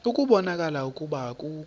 ukubona ukuba akukho